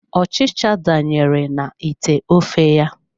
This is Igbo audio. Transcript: Ọchịcha danyere na ite ofe ya.